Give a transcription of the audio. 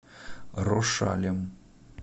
рошалем